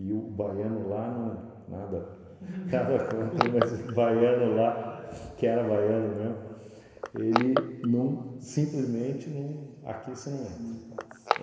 E o baiano lá não... nada... nada contra, mas o baiano lá, que era baiano mesmo, ele não... simplesmente não... aqui você não entra. Não passa.